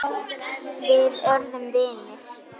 Þú kyssir mig og klæðir.